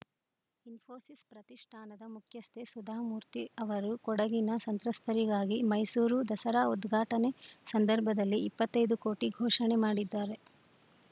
ಇಸ್ಫೋಸಿಸ್‌ ಪ್ರತಿಷ್ಠಾನದ ಮುಖ್ಯಸ್ಥೆ ಸುಧಾಮೂರ್ತಿ ಅವರು ಕೊಡಗಿನ ಸಂತ್ರಸ್ತರಿಗಾಗಿ ಮೈಸೂರು ದಸರಾ ಉದ್ಘಾಟನೆ ಸಂದರ್ಭದಲ್ಲಿ ಇಪ್ಪತ್ತೈದು ಕೋಟಿ ಘೋಷಣೆ ಮಾಡಿದ್ದಾರೆ